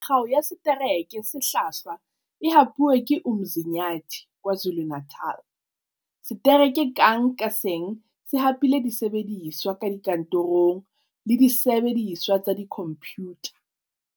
Kgao ya Setereke se Hlwahlwa e hapuwe ke Umzinyathi, KwaZuluNatal. Setereke kang ka seng se hapile disebediswa tsa dikantorong le disebe diswa tsa dikhomphutha.